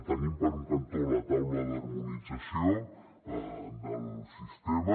tenim per un cantó la taula d’harmonització del sistema